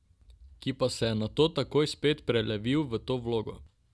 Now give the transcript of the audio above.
Ki pa se je nato takoj spet prelevil v to vlogo.